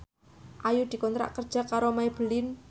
Ayu dikontrak kerja karo Maybelline